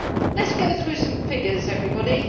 Let us go through some figures, everybody.